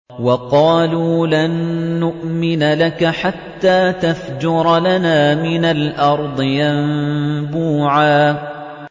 وَقَالُوا لَن نُّؤْمِنَ لَكَ حَتَّىٰ تَفْجُرَ لَنَا مِنَ الْأَرْضِ يَنبُوعًا